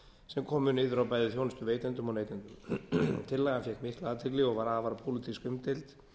sem komu niður á bæði þjónustuveitendum og neytendum tillagan fékk mikla athygli og var afar pólitískt umdeild